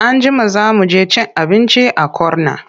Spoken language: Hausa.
Anjima za mu je cin abinci a corner.